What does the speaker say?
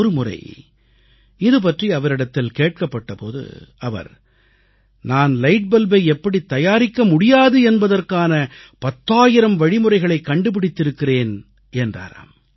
ஒருமுறை இதுபற்றி அவரிடத்தில் கேட்கப்பட்ட போது அவர் நான் லைட் பல்பை எப்படித் தயாரிக்கமுடியாது என்பதற்கான பத்தாயிரம் வழிமுறைகளைக் கண்டுபிடித்திருக்கிறேன் என்றாராம்